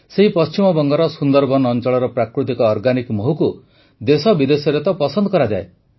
ସେଇ ପଶ୍ଚିମବଙ୍ଗର ସୁନ୍ଦରବନ ଅଂଚଳର ପ୍ରାକୃତିକ ଅର୍ଗାନିକ୍ ମହୁକୁ ତ ଦେଶବିଦେଶରେ ପସନ୍ଦ କରାଯାଏ